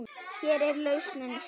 Hér er lausnin sjór.